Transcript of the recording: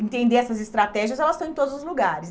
entender essas estratégias, elas estão em todos os lugares.